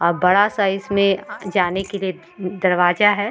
अब बड़ा साइज में जाने दरवाजा है।